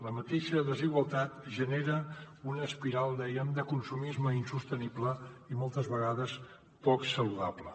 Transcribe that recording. la mateixa desigualtat genera una espiral dèiem de consumisme insostenible i moltes vegades poc saludable